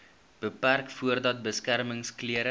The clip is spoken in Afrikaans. beperk voordat beskermingsklere